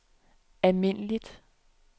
almindeligt